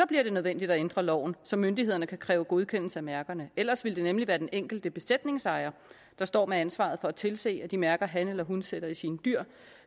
bliver det nødvendigt at ændre loven så myndighederne kan kræve godkendelse af mærkerne ellers ville det nemlig være den enkelte besætningsejer der stod med ansvaret for at tilse at de mærker han eller hun satte i sine dyr